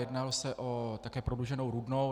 Jednalo se také o prodlouženou Rudnou.